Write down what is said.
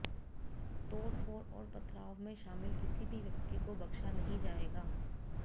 तोड़फोड़ और पथराव में शामिल किसी भी व्यक्ति को बख्शा नहीं जाएगा